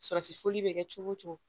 Sɔrɔsifɔli bɛ kɛ cogo o cogo